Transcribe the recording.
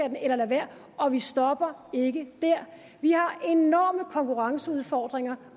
end at lade være og vi stopper ikke der vi har enorme konkurrenceudfordringer